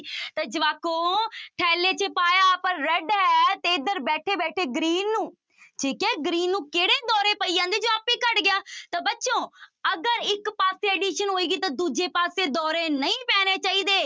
ਤਾਂ ਜਵਾਕੋ ਥੈਲੇ ਚ ਪਾਇਆ ਆਪਾਂ red ਹੈ ਤੇ ਇੱਧਰ ਬੈਠੇ ਬੈਠੇ green ਨੂੰ ਠੀਕ ਹੈ green ਨੂੰ ਕਿਹੜੇ ਦੌਰੇ ਪਈ ਜਾਂਦੇ ਹੈ ਜੋ ਆਪੇ ਹੀ ਘੱਟ ਗਿਆ ਤਾਂ ਬੱਚੋਂ ਅਗਰ ਇੱਕ ਪਾਸੇ addition ਹੋਏਗੀ ਤਾਂ ਦੂਜੇ ਪਾਸੇ ਦੌਰੇ ਨਹੀਂ ਪੈਣੇ ਚਾਹੀਦੇ।